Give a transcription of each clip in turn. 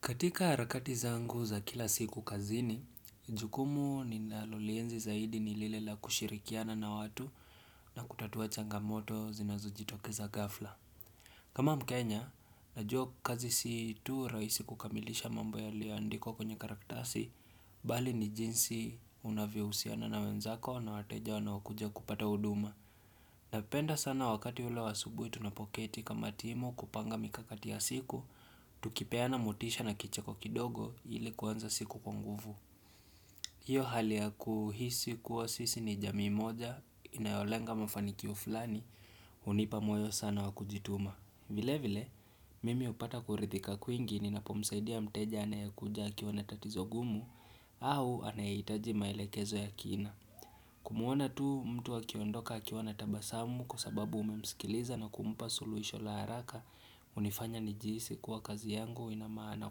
Katika harakati zangu za kila siku kazini, jukumu ninalolienzi zaidi ni lile la kushirikiana na watu na kutatuwa changamoto zinazojitokeza ghafla. Kama mkenya, najua kazi si tu rahisi kukamilisha mambo yalioandikwa kwenye karatasi, bali ni jinsi unavyohusiana na wenzako na wateja wanaokuja kupata huduma. Napenda sana wakati ule wa asubuhi tunapoketi kama timu, kupanga mikakati ya siku, tukipeana motisha na kicheko kidogo ili kuanza siku kwa nguvu. Hiyo hali ya kuhisi kuwa sisi ni jamii moja, inayolenga mafanikio fulani, hunipa moyo sana wakujituma. Vile vile, mimi upata kurithika kwingi ninapomsaidia mteja anayekuja akiwa na tatizo gumu au anayehitaji maelekezo ya kina. Kumuona tu mtu akiondoka akiwa na tabasamu kwa sababu umemsikiliza na kumpa suluisho la haraka unifanya nijihisi kwa kazi yangu inamaana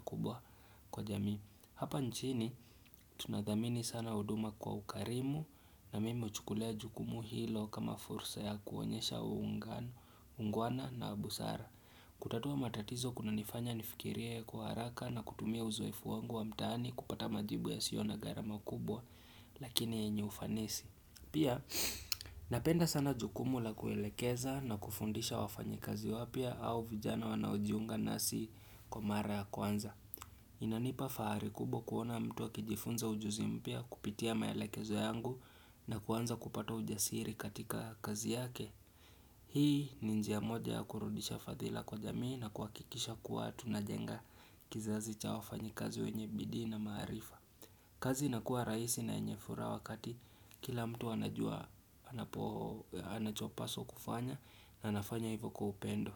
kubwa kwa jamii. Hapa nchini tunathamini sana huduma kwa ukarimu na mimi huchukulia jukumu hilo kama fursa ya kuonyesha uungwana na busara. Kutatua matatizo kuna nifanya nifikirie kwa haraka na kutumia uzoefu wangu wa mtaani kupata majibu ya sio na gharama kubwa, lakini yenye ufanisi. Pia napenda sana jukumu la kuelekeza na kufundisha wafanyikazi wapya au vijana wanaojiunga nasi kwa mara ya kwanza. Inanipa fahari kubwa kuona mtu akijifunza ujuzi mpya kupitia maelekezo yangu na kuanza kupata ujasiri katika kazi yake. Hii ni njia moja ya kurudisha fathila kwa jamii na kuhakikisha kuwa tunajenga kizazi cha wafanyikazi wenye bidii na maarifa. Kazi inakua rahisi na yenye furaha wakati kila mtu anajua anapo anachopaswa kufanya na anafanya hivyo kwa upendo.